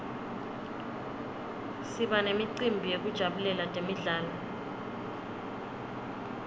siba nemicimbi yekujabulela temidlalo